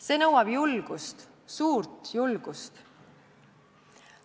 See nõuab julgust, suurt julgust.